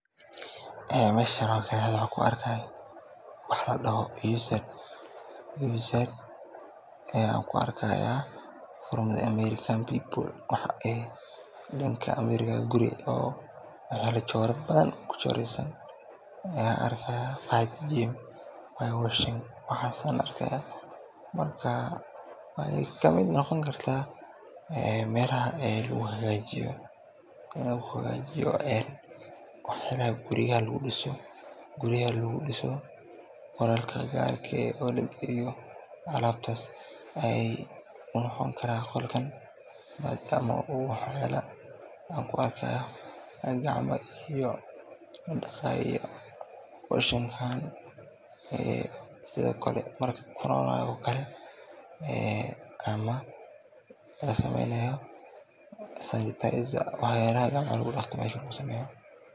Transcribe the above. Meeshan waxa kuarka usad wax eg from american people ayan ujeda oo danka guryo arka marka waxa kalo noqoni karta waxyalaha guryaha lugudiso oo alabtas ayey noqoni karan madam gacmoladaqayo washing hand ayan iyo sanitizer aya meeshan lugusameya.